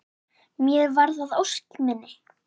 Mér varð að ósk minni.